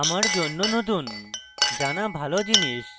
জানা ভালো জিনিস